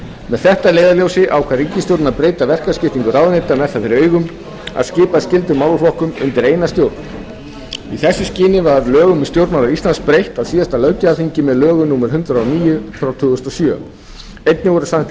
með þetta að leiðarljósi ákvað ríkisstjórnin að breyta verkaskiptingu ráðuneyta með það fyrir augum að skipa skyldum málaflokkum undir eina stjórn í þessu skyni var lögum um stjórnarráð íslands breytt á síðasta löggjafarþingi með lögum númer hundrað og níu tvö þúsund og sjö einnig voru samþykkt